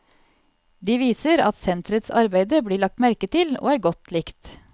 De viser at senterets arbeide blir lagt merke til og er godt likt.